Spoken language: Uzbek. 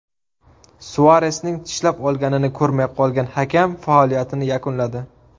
Suaresning tishlab olganini ko‘rmay qolgan hakam faoliyatini yakunladi.